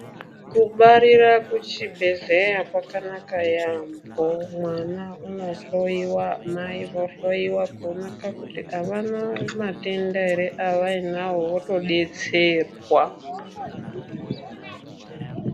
Kubarira kuchibhedhleya kwakanaka yaampho .Mwana unohloiwa, mai vohloiwa kuoneka kuti avana matenda ere avainawo votodetserwa.